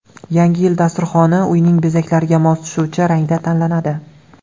Yangi yil dasturxoni uyning bezaklariga mos tushuvchi rangda tanlanadi.